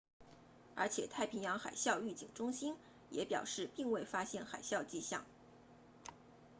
而且太平洋海啸预警中心 also the pacific tsunami warning center 也表示并未发现海啸迹象